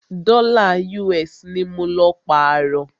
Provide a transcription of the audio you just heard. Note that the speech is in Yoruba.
Dọ́là US ní mọ lọ pààrọ́.